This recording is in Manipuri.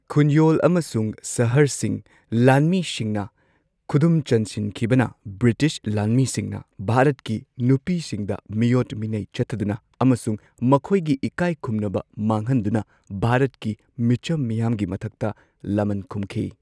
ꯈꯨꯟꯌꯣꯜ ꯑꯃꯁꯨꯡ ꯁꯍꯔꯁꯤꯡ ꯂꯥꯟꯃꯤꯁꯤꯡꯅ ꯈꯨꯗꯨꯝ ꯆꯟꯁꯤꯟꯈꯤꯕꯅ ꯕ꯭ꯔꯤꯇꯤꯁ ꯂꯥꯟꯃꯤꯁꯤꯡꯅ ꯚꯥꯔꯠꯀꯤ ꯅꯨꯄꯤꯁꯤꯡꯗ ꯃꯤꯑꯣꯠ ꯃꯤꯅꯩ ꯆꯠꯊꯗꯨꯅ ꯑꯃꯁꯨꯡ ꯃꯈꯣꯏꯒꯤ ꯏꯀꯥꯏꯈꯨꯝꯅꯕ ꯃꯥꯡꯍꯟꯗꯨꯅ ꯚꯥꯔꯠꯀꯤ ꯃꯤꯆꯝ ꯃꯤꯌꯥꯝꯒꯤ ꯃꯊꯛꯇ ꯂꯃꯟ ꯈꯨꯝꯈꯤ꯫